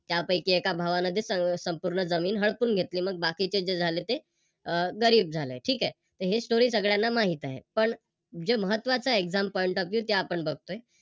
त्यापैकी एका भावानं जे संपूर्ण जमीन हडपून घेतली मग बाकीचे जे झाले ते अह गरीब झाले ठीक आहे. हे Story सगळ्यांना माहित आहे. पण जे महत्त्वाच Exam point of view ते आपण बघतोय